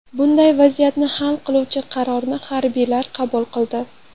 Bunday vaziyatni hal qiluvchi qarorni harbiylar qabul qildi.